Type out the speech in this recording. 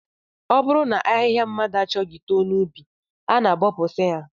Ọ bụrụ na ahịhịa mmadụ achọghị too n'ubi, a na-abọpụsị ha